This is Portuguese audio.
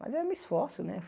Mas eu me esforço, né?